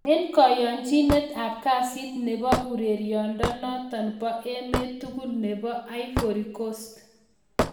En koyonchinet ab kasit nebo urerenindonoton bo emet tugul nebo Ivory coast